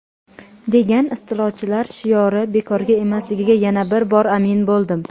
degan istilochilar shiori bekorga emasligiga yana bir bor amin bo‘ldim.